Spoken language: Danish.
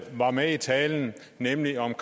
var med i talen nemlig om